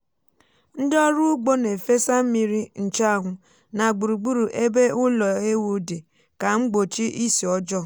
ndị ọrụ ugbo na efesa mmiri nchuanwu na gburugburu ebe ụlọ ewu dị ka mgbochi isi ọjọọ.